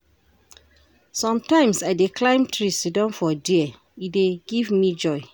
Sometimes, I dey climb tree siddon for there, e dey give me joy.